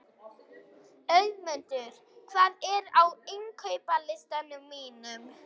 Auðmundur, hvað er á innkaupalistanum mínum?